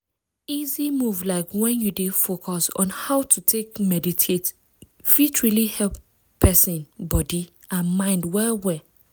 easy move like when you dey focus on how to take meditate fit really help person body and mind well well.